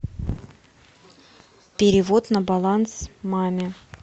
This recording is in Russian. перевод на баланс маме